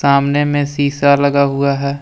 सामने में शीशा लगा हुआ है।